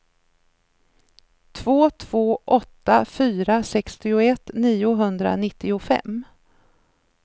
två två åtta fyra sextioett niohundranittiofem